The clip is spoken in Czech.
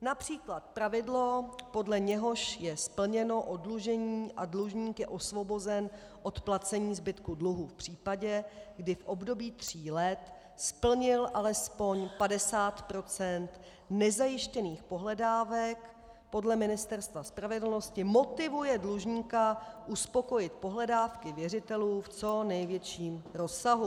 Například pravidlo, podle něhož je splněno oddlužení a dlužník je osvobozen od placení zbytku dluhu v případě, kdy v období tří let splnil alespoň 50 % nezajištěných pohledávek, podle Ministerstva spravedlnosti motivuje dlužníka uspokojit pohledávky věřitelů v co největším rozsahu.